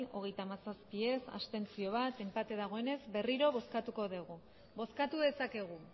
hogeita hamazazpi ez bat abstentzio enpate dagoenez berriro bozkatuko dugu bozkatu dezakegu